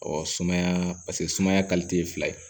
sumaya paseke sumaya ye fila ye